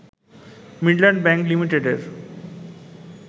Midland Bank লিমিটেডের